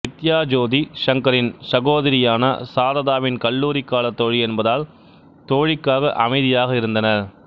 வித்யா ஜோதி சங்கரின் சகோதரியான சாரதாவின் கல்லூரி காலத் தோழி என்பதால் தோழிக்காக அமைதியாக இருந்தனர்